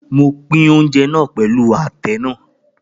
Mo sin ounjẹ naa pẹlu atẹ naa